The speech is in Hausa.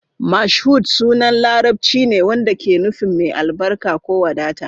Mashood sunan Larabci ne wanda ke nufin "mai albarka" ko "wadata".